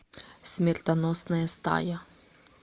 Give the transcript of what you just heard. смертоносная стая